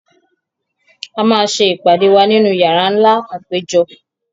A máa ṣe ìpàdé wa nínú yàrá nlá àpéjọ